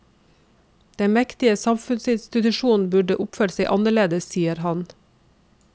Den mektige samfunnsinstitusjonen burde oppført seg annerledes, sier han.